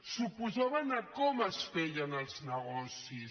s’oposaven a com es feien els negocis